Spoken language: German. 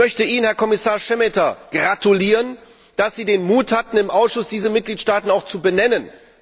Ich möchte Ihnen, Herr Kommissar Šemeta, gratulieren, dass Sie den Mut hatten, im Ausschuss diese Mitgliedstaaten auch zu benennen.